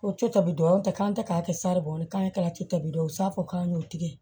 Ko co tɔbi dɔw te k'an tɛ ka kɛ saribɔn ye k'an ye kalan cobila u b'a fɔ k'an y'o tigɛ